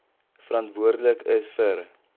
verantwoordelik is vir